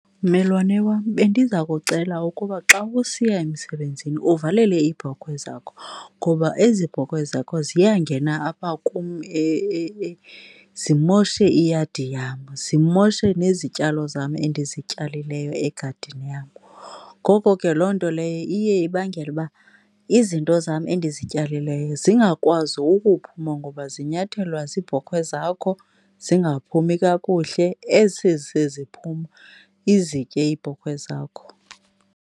Mmelwane wam, bendiza kucela ukuba xa usiya emsebenzini uvalele iibhokhwe zakho ngoba ezi bhokhwe zakho ziyangena apha kum zimoshe iyadi yam, zimoshe nezityalo zam endizityalileyo egadini yam. Ngoko ke loo nto leyo iye ibangele uba izinto zam endizityalileyo zingakwazi ukuphuma ngoba zinyathelwa ziibhokhwe zakho, zingaphumi kakuhle, eseseziphuma izitye iibhokhwe zakho.